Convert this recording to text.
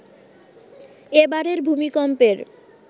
এ বারের ভূমিকম্পের